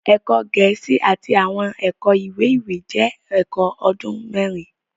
Ẹkọ Gẹẹsi Àti awọn ẹkọ iwe-iwe jẹ ẹkọ ọdun mẹrin